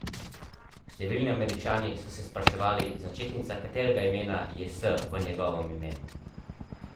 Številni Američani so se spraševali, začetnica katerega imena je S v njegovem imenu.